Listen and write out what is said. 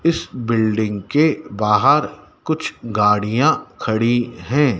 इस बिल्डिंग के बाहर कुछ गाड़ियां खड़ी हैं।